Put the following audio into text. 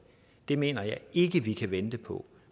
det mener jeg ikke vi kan vente på